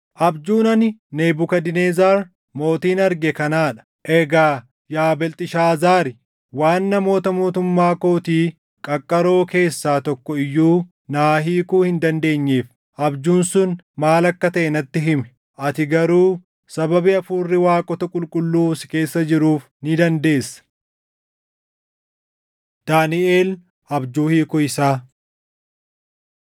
“Abjuun ani Nebukadnezar mootiin arge kanaa dha. Egaa yaa Beelxishaazaari waan namoota mootummaa kootii qaqqaroo keessaa tokko iyyuu naa hiikuu hin dandeenyeef abjuun sun maal akka taʼe natti himi. Ati garuu sababii hafuurri waaqota qulqulluu si keessa jiruuf ni dandeessa.” Daaniʼel Abjuu Hiikuu Isaa